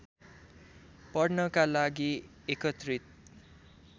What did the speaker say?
पढ्नका लागि एकत्रित